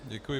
Děkuji.